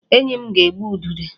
Enyi m ga-egbu udide